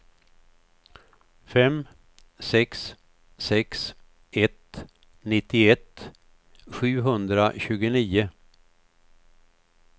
fem sex sex ett nittioett sjuhundratjugonio